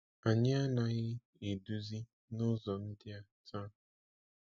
Anyị anaghị eduzi n’ụzọ ndị a taa.